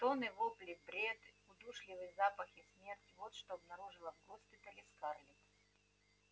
стоны вопли бред удушливый запах и смерть вот что обнаружила в госпитале скарлетт